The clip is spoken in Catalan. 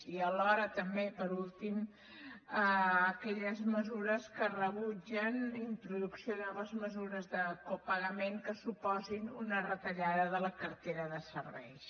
i alhora també per últim aquelles mesures que rebutgen introducció de noves mesures de copagament que suposin una retallada de la cartera de serveis